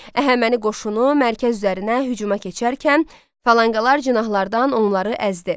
Əhəməni qoşunu mərkəz üzərinə hücuma keçərkən, falanqalar cinahlardan onları əzdi.